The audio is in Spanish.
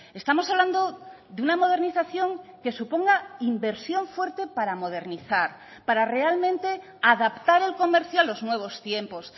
estamos hablando de una modernización que suponga inversión fuerte para modernizar para realmente adaptar el comercio a los nuevos tiempos